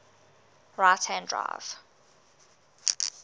right hand drive